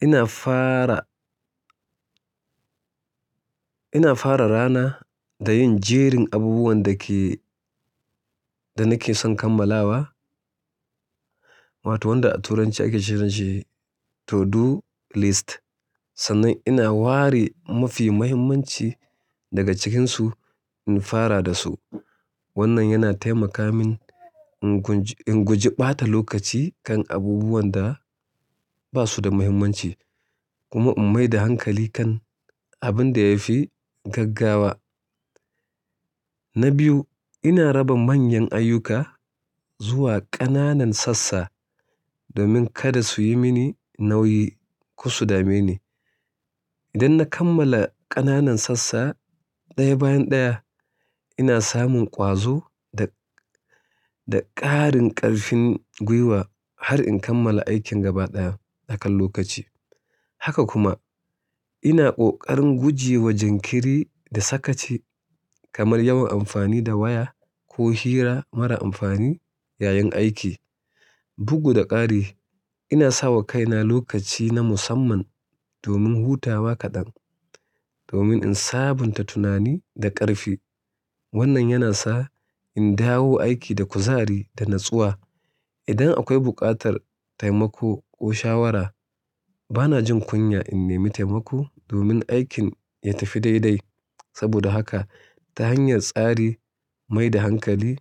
ina fara, ina fara rana da yin jerin abubuwan da ke-- da nake son kammalawa wato wanda a turanci ake kiranshi to-do list. Sannan ina ware mafi muhimmanci daga cikinsu in fara da su. Wannan yana taimaka min in gunj-- in guje ɓata lokaci kan abubuwan da ba su da muhimmanci kuma in maida hankali kan abin da ya fi gaggawa. Na biyu, ina raba manyan ayyuka zuwa ƙananan sassa domin kada su yi mini nauyi, ko su dameni. Idan na kammala ƙananan sassa ɗaya bayan ɗaya, ina samun ƙwazo da, da ƙarin ƙarfin gwiwa har in kammala aikin gaba ɗaya a kan lokaci. Haka kuma ina ƙoƙarin guje wa jinkiri da sakaci kamar yawan amfani da waya ko hira mara amfani yayin aiki. Bugu da ƙari, ina sawa kaina lokaci na musamman domin hutawa kaɗan domin in sabunta tunani da ƙarfi. Wannan yana sa in dawo aiki da kuzari da natsuwa. Idan akwai buƙatar taimako ko shawara, bana jin kunya in nemi taimako domin aikin ya tafi dai-dai. Saboda haka ta hanyar tsari, mai da hankali,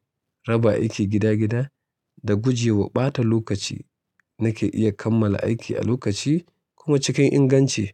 raba aiki gida-gida da guje wa ɓata lokaci nake iya kammala aiki a lokaci kuma cikin inganci.